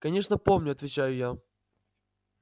конечно помню отвечаю я